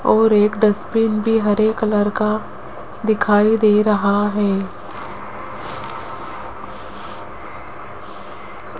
और एक डस्टबिन भी हरे कलर का दिखाई दे रहा है।